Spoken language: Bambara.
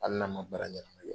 Hali n'a man baara ɲanama kɛ.